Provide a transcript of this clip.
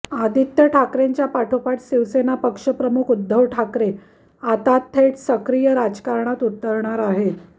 आदित्य ठाकरेंच्या पाठोपाठ शिवसेना पक्ष प्रमुख उद्धव ठाकरे आता थेट सक्रिय राजकारणात उतरणार आहेत